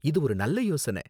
இது ஒரு நல்ல யோசனை.